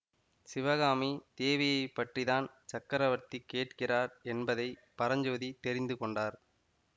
சிவகாமி தேவியைப் பற்றி தான் சக்கரவர்த்தி கேட்கிறார் என்பதை பரஞ்சோதி தெரிந்து கொண்டார்